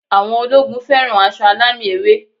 Àwọn ológun fẹ́ràn aṣọ alámì ewé